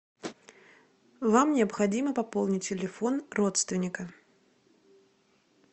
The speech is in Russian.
вам необходимо пополнить телефон родственника